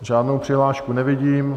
Žádnou přihlášku nevidím.